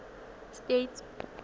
states